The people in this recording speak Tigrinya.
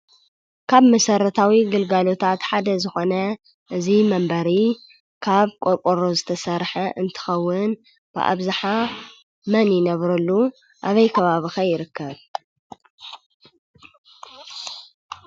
ካብ መሰረታዊ ግልጋሎታት ሓደ ዝኾነ እዚ መንበሪ ካብ ቆርቆሮ ዝተሰርሐ እንትኸውን ብኣብዝሓ መን ይነብረሉ? ኣበይ ከባቢ ኸ ይርከብ?